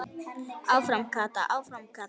Áfram Kata, áfram Kata!